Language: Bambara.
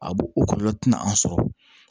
A b'o o kɔlɔlɔ tina an sɔrɔ